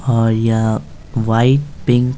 यहाँ और white pink --